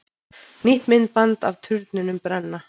Nýtt myndband af turnunum brenna